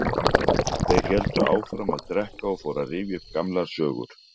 Þeir héldu áfram að drekka og fóru að rifja upp gamlar sögur.